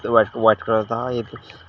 white white colour का एक--